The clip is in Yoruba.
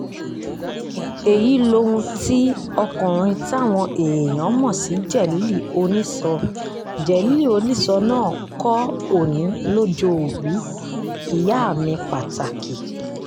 èyí lohun tí ọkùnrin táwọn èèyàn mọ̀ sí jélílì onísọ jélílì onísọ náà kọ́ òní lójoòbí ìyá mi pàtàkì